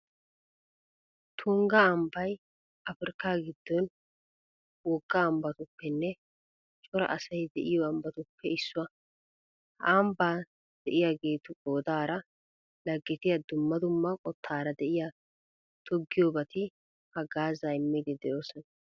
Tungga ambbay afirkkaa giddon wogga ambbatuppenne cora asay de'iyo ambbatuppe issuwa. Ha ambba de'iyageetu qoodaara laggetiya dumma dumma qottaara de'iya toggiyobati haggaazaa immiiddi de'oosona.